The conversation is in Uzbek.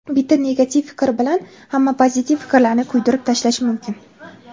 Bitta negativ fikr bilan hamma pozitiv fikrlarni kuydirib tashlash mumkin.